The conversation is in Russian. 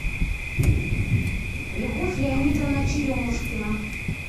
любовь леонидовна черемушкина